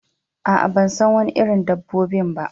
Aa, ban san Wani irin dabbobin ba.